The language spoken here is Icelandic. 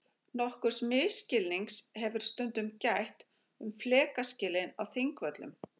Nokkurs misskilnings hefur stundum gætt um flekaskilin á Þingvöllum.